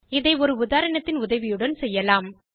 இதை ஒரு உதாரணத்தின் உதவியுடன் செய்யலாம்